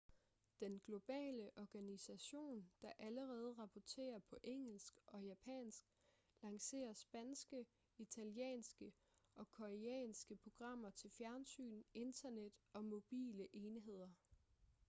den globale organisation der allerede rapporterer på engelsk og japansk lancerer spanske italienske og koreanske programmer til fjernsyn internet og mobile enheder